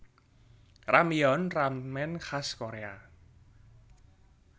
Ramyeon ramen khas Korea